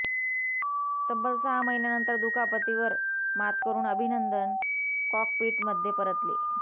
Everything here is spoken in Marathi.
तब्बल सहा महिन्यानंतर दुखापतीवर मात करुन अभिनंदन कॉकपीटमध्ये परतले